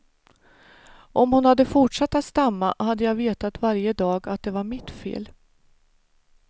Om hon hade fortsatt att stamma hade jag vetat varje dag att det var mitt fel.